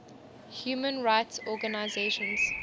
human rights organizations